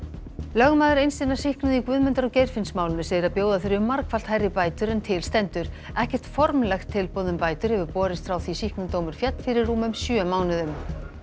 lögmaður eins hinna sýknuðu í Guðmundar og Geirfinnsmálinu segir að bjóða þurfi margfalt hærri bætur en til stendur ekkert formlegt tilboð um bætur hefur borist frá því sýknudómur féll fyrir rúmum sjö mánuðum